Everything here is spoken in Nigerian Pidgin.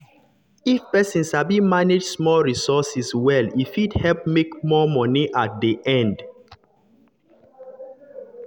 if person sabi manage small resources well e fit help fit help make more money at the end.